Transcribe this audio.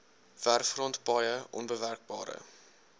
werfgrond paaie onbewerkbare